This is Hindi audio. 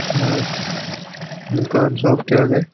यहाँ दुकान शॉप के आगे --